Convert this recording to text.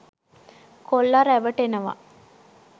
කොල්ල රැවටෙනව.